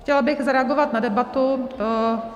Chtěla bych zareagovat na debatu.